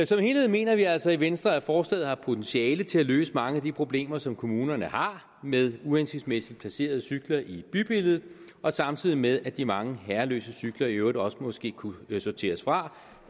som helhed mener vi altså i venstre at forslaget har potentiale til at løse mange af de problemer som kommunerne har med uhensigtsmæssigt placerede cykler i bybilledet samtidig med at de mange herreløse cykler i øvrigt også måske kunne sorteres fra